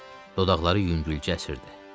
Dodaqları yüngülcə əsirdi.